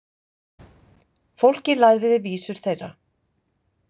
Fólkið lærði vísur þeirra.